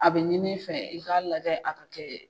A bɛ ɲini fɛ i k'a lajɛ a ka kɛ.